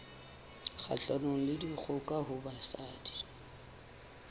kgahlanong le dikgoka ho basadi